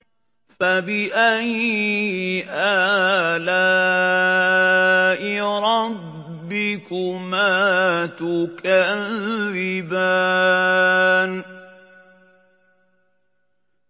فَبِأَيِّ آلَاءِ رَبِّكُمَا تُكَذِّبَانِ